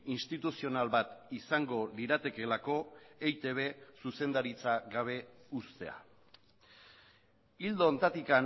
instituzional bat izango liratekeelako eitb zuzendaritza gabe uztea ildo honetatik